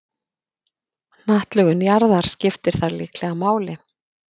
Hnattlögun jarðar skiptir þar líklega máli.